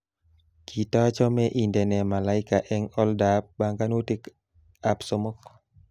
Katachome indene malaika eng oldoab banganutikab somok